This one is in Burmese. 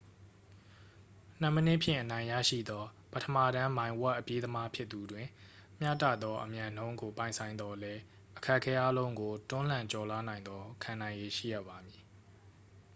နှစ်မိနစ်ဖြင့် အနိုင်ရရှိသော ပထမတန်း မိုင်ဝက် အပြေးသမားဖြစ်သူတွင် မျှတသောအမြန်နှုန်းကို ပိုင်ဆိုင်သော်လည်း အခက်အခဲအားလုံးကို တွန်းလှန် ကျော်လွှားနိုင်သော ခံနိုင်ရည်ရှိရပါမည်